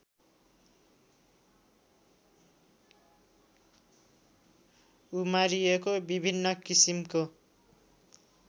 उमारिएको विभिन्न किसिमको